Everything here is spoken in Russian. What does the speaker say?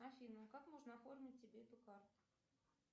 афина как можно оформить тебе эту карту